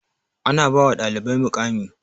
Ana ba wa ɗalibari muƙami